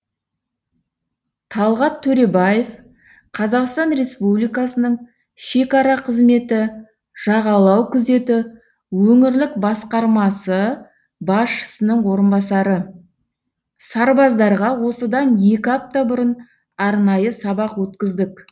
талғат төребаев қазақстан республикасының шекара қызметі жағалау күзеті өңірлік басқармасы басшысының орынбасары сарбаздарға осыдан екі апта бұрын арнайы сабақ өткіздік